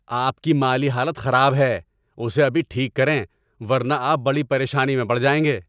آپ کی مالی حالت خراب ہے! اسے ابھی ٹھیک کریں ورنہ آپ بڑی پریشانی میں پڑ جائیں گے۔